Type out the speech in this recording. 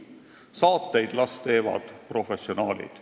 Saateid las teevad professionaalid.